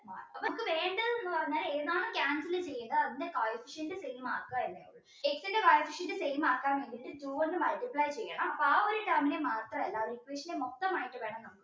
പറഞ്ഞാൽ ഏതാണോ cancel ചെയ്യുന്നത് അതിൻറെ coefficient same ക്ക X ൻറെ coefficient same ആക്കാൻ വേണ്ടിയിട്ട് two കൊണ്ട് multiply ചെയ്യണം അപ്പോ ആ ഒരു term നെ മാത്രമല്ല ആ equation മൊത്തമായിട്ട് വേണം